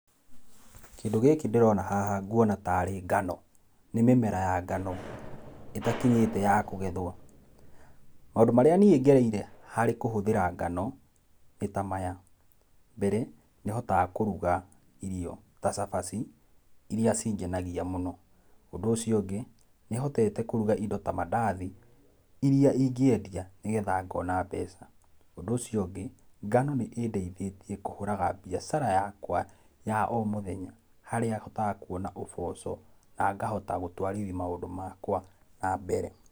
Kĩndũ gĩkĩ ndĩrona haha ngũona tarĩ ngano nĩ mĩmera ya ngano, ĩtakinyĩte kũgethwo. Maũndũ marĩa nĩe ngereire harĩ kũhũthĩra ngano nĩ ta maya, mbere nĩ hotaga kũruga irio ta cabaci iria cingenagia mũno, ũndũ ũcio ũngĩ nĩhotete kũruga indo ta mandathi iria ingĩendia nĩgetha ngona mbeca ũndũ ũcio ũngĩ ngano nĩ ĩndeithĩtie kũhũraga biacara yakwa ya o mũthenya harĩa hotaga kũona ũboco na ngahota gũtwarithia maũndũ makwa na mbere.